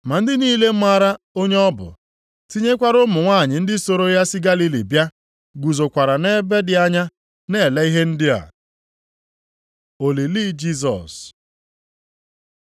Ma ndị niile maara onye ọ bụ, tinyekwara ụmụ nwanyị ndị soro ya si Galili bịa, guzokwara nʼebe dị anya na-ele ihe ndị a. Olili Jisọs